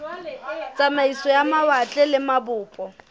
tsamaiso ya mawatle le mabopo